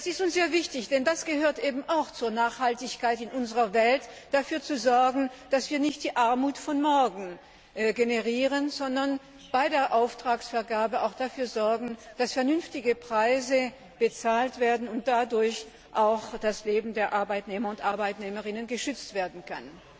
Das ist uns sehr wichtig, denn es gehört eben auch zur Nachhaltigkeit in unserer Welt, dafür zu sorgen, dass wir nicht die Armut von morgen generieren, sondern bei der Auftragsvergabe auch dafür sorgen, dass vernünftige Preise gezahlt werden und dadurch auch das Leben der Arbeitnehmerinnen und Arbeitnehmer geschützt werden kann.